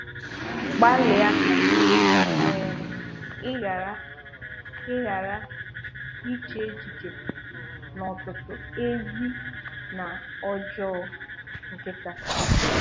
Gbàlịà ka um ị ghàrà ị ghàrà iche echiche n’ọ̀tụ̀tụ̀ “ezi” na “ọjọọ” nkịta